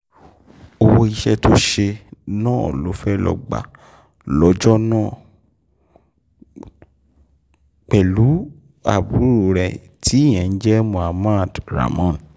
owó iṣẹ́ tó ṣe náà ló fẹ́ẹ́ lọ́ọ́ gbà lọ́jọ́ náà pẹ̀lú àbúrò ẹ̀ tíyẹn ń jẹ́ mohammed ramón